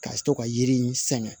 Ka to ka yiri in sɛŋɛ